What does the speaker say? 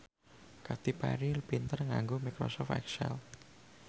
Katy Perry pinter nganggo microsoft excel